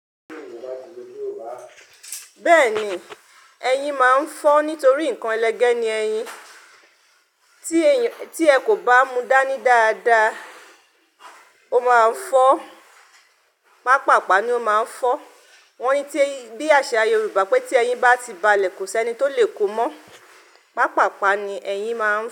Bẹ́ẹ̀ni, ẹyin máa ń fọ́ nítorí ǹkan ẹlẹgẹ́ ni ẹyin. Tí ẹ kò bá mú dání dáadáa, ó máa ń fọ́. Pápàpá ni ó máa ń fọ́. Wọ́n ní bí àṣà Yorùbá pé tí ẹyin bá ti balẹ̀, kò sí ẹni tó lè kó mọ́. Pápàpá ni ẹyin máa ń fọ́